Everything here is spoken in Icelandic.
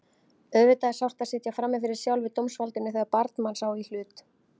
Auðvitað er sárt að sitja frammi fyrir sjálfu dómsvaldinu þegar barn manns á í hlut.